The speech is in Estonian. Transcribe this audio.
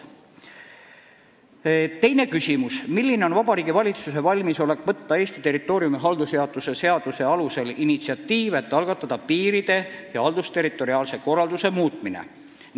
Teine küsimus: "Milline on Vabariigi Valitsuse valmisolek võtta Eesti territooriumi haldusjaotuse seaduse alusel initsiatiiv, et algatada piiride ja haldusterritoriaalse korralduse muutmine?